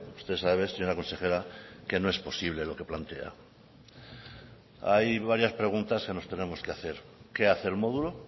usted sabe señora consejera que no es posible lo que plantea hay varias preguntas que nos tenemos que hacer qué hace el modulo